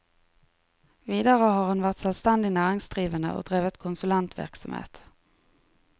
Videre har han vært selvstendig næringsdrivende og drevet konsulentvirksomhet.